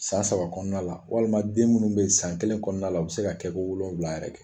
San saba kɔnɔna la walima den munnu be san kelen kɔnɔna la u bi se ka kɛ ko wolowula yɛrɛ kɛ.